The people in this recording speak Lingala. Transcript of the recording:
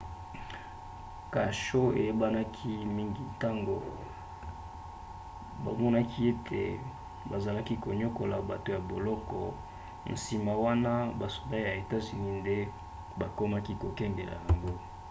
kasho eyebanaki mingi ntango bamonaki ete bazalaki koniokola bato ya boloko nsima wana basoda ya etats-unis nde bakomaki kokengela yango